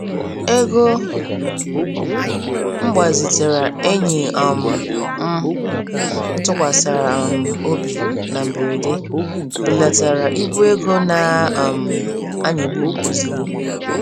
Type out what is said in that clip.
Ego m gbazitara enyi um m m tụkwasara um obi na mberede, belatara ibu égo na um anyịgbum ozigbo.